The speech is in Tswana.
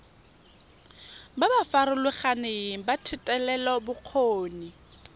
ba ba farologaneng ba thetelelobokgoni